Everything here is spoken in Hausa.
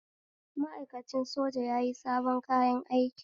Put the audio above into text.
Ma'aikacin soja yayi sabon kayan aiki